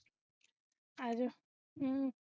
ਆਜਾ ਹੁ